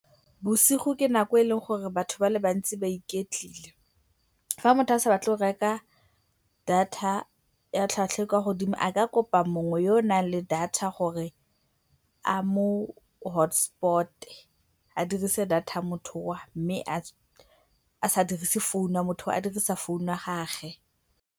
Bosigo ke nako e eleng gore batho ba le bantsi ba iketlile. Fa motho a sa batle go reka data ya tlhwatlhwa e e kwa godimo a ka kopa mongwe yo o nang le data tsa gore a mo hotspot-e, a dirise data motho yoo mme a sa dirise phone ya motho yoo, a dirisa founu ya gagwe.